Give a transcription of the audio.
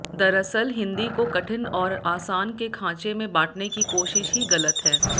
दरअसल हिंदी को कठिन और आसान के खांचे में बांटने की कोशिश ही गलत है